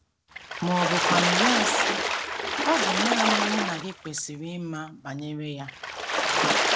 Ma ọ bụkwanụ, ya asị: “ Ọ bụ nanị mụ na gị kwesịrị ịma banyere ya.